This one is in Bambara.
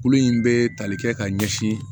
Kulu in bɛ tali kɛ ka ɲɛsin